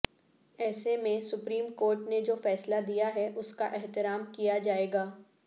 ایسے میں supreme court نے جو فیصلہ دیا ہے اس کا احترام کیا جائے گا